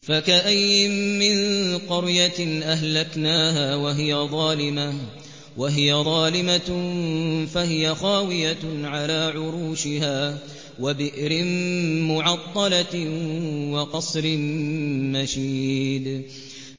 فَكَأَيِّن مِّن قَرْيَةٍ أَهْلَكْنَاهَا وَهِيَ ظَالِمَةٌ فَهِيَ خَاوِيَةٌ عَلَىٰ عُرُوشِهَا وَبِئْرٍ مُّعَطَّلَةٍ وَقَصْرٍ مَّشِيدٍ